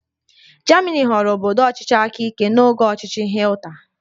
Germani ghọrọ obodo ọchịchị aka ike n'oge ọchịchị Hitler